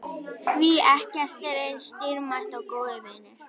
Því ekkert er eins dýrmætt og góðir vinir.